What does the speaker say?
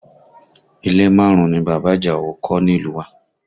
Ilé márùn-ún ni bàbá Àjàó kọ́ nílùú wá